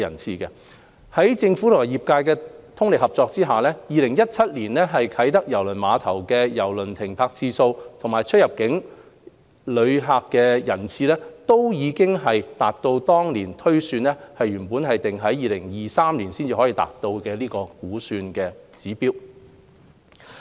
在政府及業界的通力合作下 ，2017 年啟德郵輪碼頭的郵輪停泊次數及出入境郵輪乘客人次均已達到當年推算全港至2023年才可達到的估算指標。